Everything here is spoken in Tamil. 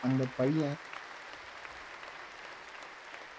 அந்த பையன்